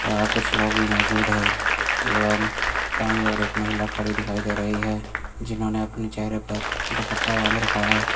यहां कुछ लोग भी मौजूद है एवं दाई ओर एक महिला खड़ी दिखाई दे रही है जिन्होंने अपने चेहरे पर दुपट्टा बांध रखा है।